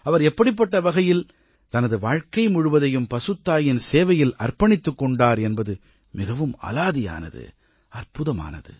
அவர் எப்படிப்பட்ட வகையில் தனது வாழ்க்கை முழுவதையும் பசுத்தாயின் சேவையில் தன்னை அர்ப்பணித்துக் கொண்டார் என்பது மிகவும் அலாதியானது அற்புதமானது